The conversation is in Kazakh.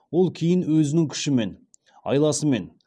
ол кейін өзінің күшімен айласымен